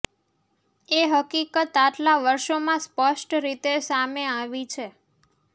એ હકીકત આટલા વર્ષોમાં સ્પષ્ટ રીતે સામે આવી છે